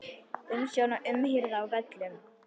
Umsjón og umhirða á völlum